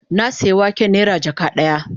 Na sayi waken nera jaka daya